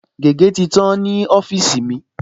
Gègé̀ ti tán ní ọ́fíìsì mi